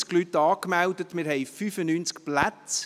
Es sind 90 Leute angemeldet, wir haben 95 Plätze.